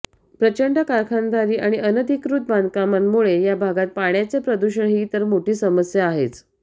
प्रचंड कारखानदारी आणि अनधिकृत बांधकामांमुळे या भागात पाण्याचे प्रदूषण ही तर मोठी समस्या आहेच